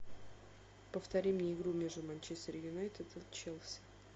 повтори мне игру между манчестер юнайтед и челси